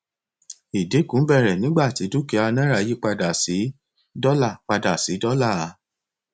ìdínkù bẹrẹ nígbà tí dúkìá náírà yí padà sí dọlà padà sí dọlà